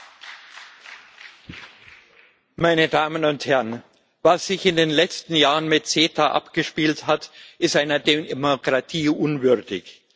Frau Präsidentin, meine Damen und Herren! Was sich in den letzten Jahren mit CETA abgespielt hat, ist einer Demokratie unwürdig.